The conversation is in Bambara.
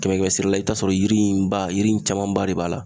Kɛmɛ kɛmɛ sara la i bi t'a sɔrɔ yiri in ba yiri in caman ba de b'a la